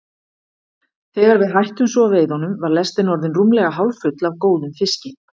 Þegar við hættum svo veiðunum var lestin orðin rúmlega hálffull af góðum fiski.